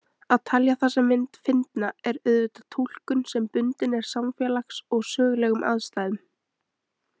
Að telja þessa mynd fyndna er auðvitað túlkun sem bundin er samfélags- og sögulegum aðstæðum.